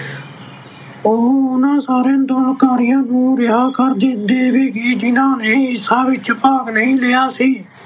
ਉਹ ਉਹਨਾਂ ਸਾਰੇ ਅੰਦੋਲਨਕਾਰੀਆਂ ਨੂੰ ਰਿਹਾਅ ਕਰ ਦੇ ਅਹ ਦੇਵੇਗੀ ਜਿਹਨਾਂ ਨੇ ਹਿੰਸਾ ਵਿੱਚ ਭਾਗ ਨਹੀਂ ਲਿਆ ਸੀ।